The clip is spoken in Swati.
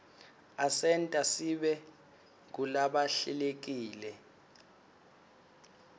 asenta sibe ngulabahlelekile